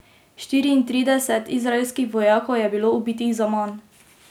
Štiriintrideset izraelskih vojakov je bilo ubitih zaman.